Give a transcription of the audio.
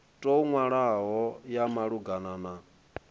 tou nwalwaho ya malugana na